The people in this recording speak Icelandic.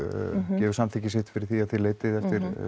gefur samþykki sitt fyrir því að þið leitið á